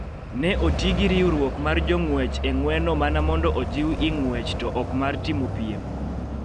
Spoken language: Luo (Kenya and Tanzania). Ne oti gi riwruok mar jong`wech e ng`weno mana mondo ojiw i ng`wech to ok mar timo piem.